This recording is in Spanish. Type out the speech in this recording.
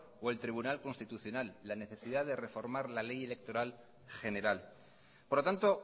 y el tribunal constitucional la necesidad de reformar la ley electoral general por lo tanto